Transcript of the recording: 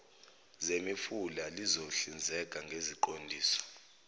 zemifula lizohlinzeka ngeziqondiso